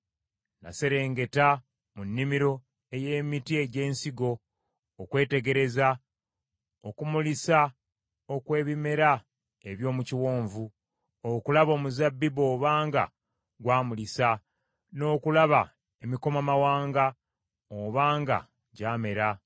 Naserengeta mu nnimiro ey’emiti egy’ensigo okwetegereza okumulisa okw’ebimera eby’omu kiwonvu, okulaba omuzabbibu obanga gwamulisa, n’okulaba emikomamawanga oba nga gyamera.